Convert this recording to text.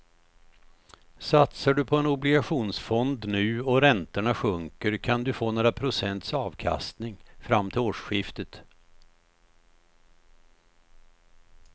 Satsar du på en obligationsfond nu och räntorna sjunker kan du få några procents avkastning fram till årsskiftet.